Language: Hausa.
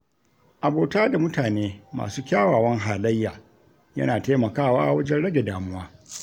Abota da mutane masu kyawawan halayya, yana taimakawa wajen rage damuwa.